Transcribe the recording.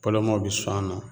Pɔlɔmaaw bi sɔn a nɔ